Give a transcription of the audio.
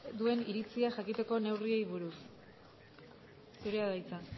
duen iritzia jakiteko neurriei buruz zurea da hitza